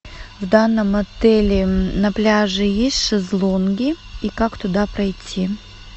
в данном отеле на пляже есть шезлонги и как туда пройти